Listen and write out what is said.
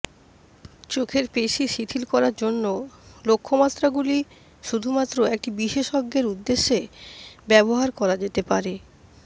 চোখের পেশী শিথিল করার জন্য লক্ষ্যমাত্রাগুলি শুধুমাত্র একটি বিশেষজ্ঞের উদ্দেশ্যে ব্যবহার করা যেতে পারে